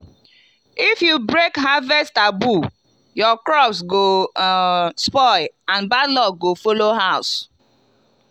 if you break harvest taboo your crops go um spoil and bad luck go follow house.